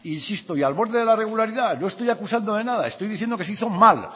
insisto y al borde de la irregularidad no estoy acusando de nada estoy diciendo que se hizo mal